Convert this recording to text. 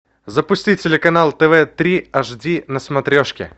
запусти телеканал тв три аш ди на смотрешке